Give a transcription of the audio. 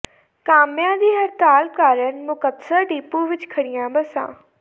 ਕਾਮਿਆਂ ਦੀ ਹੜਤਾਲ ਕਾਰਨ ਮੁਕਤਸਰ ਡਿੱਪੂ ਵਿੱਚ ਖੜ੍ਹੀਆਂ ਬੱਸਾਂ